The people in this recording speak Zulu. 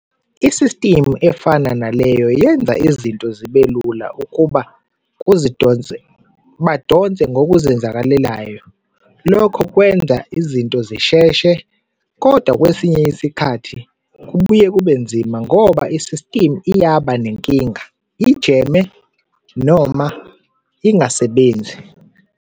Isistimu efana naleyo yenza izinto zibelula ukuba kuzidonse, badonse ngokuzenzakalelayo, lokho kwenza izinto zisheshe. Kodwa kwesinye isikhathi kubuye kube nzima ngoba isistimu iyaba nenkinga, i-jam-e noma ingasebenzi.